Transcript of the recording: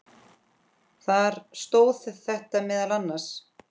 Þar stóð þetta meðal annars